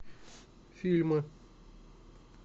фильмы